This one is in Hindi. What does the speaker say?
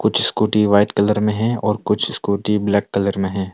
कुछ स्कूटी व्हाइट कलर में है और कुछ स्कूटी ब्लैक कलर में है।